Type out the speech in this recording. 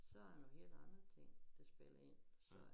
Så der nogen helt andre ting der spiller ind så